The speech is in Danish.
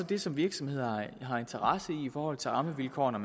det som virksomhederne har interesse i i forhold til rammevilkårene